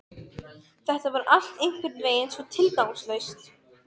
Þetta var allt einhvernveginn svo tilgangslaust.